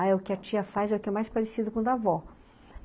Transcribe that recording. Aí o que a tia faz é o que é mais parecido com o da avó.